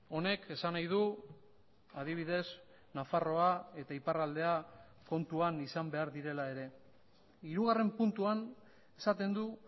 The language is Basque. honek esan nahi du adibidez nafarroa eta iparraldea kontuan izan behar direla ere hirugarren puntuan esaten du